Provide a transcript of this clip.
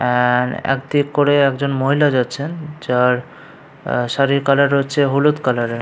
আ-আ একদিক করে একজন মহিলা যাচ্ছেন। যার আ শাড়ীর কালার হচ্ছে হলুদ কালারের ।